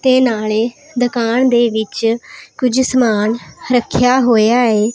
ਤੇ ਨਾਲੇ ਦੁਕਾਨ ਦੇ ਵਿੱਚ ਕੁਝ ਸਮਾਨ ਰੱਖਿਆ ਹੋਇਆ ਹੈ।